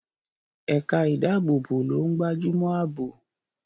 Ẹ̀ka ìdáàbòbò ló ń gbájúmọ́ àbò.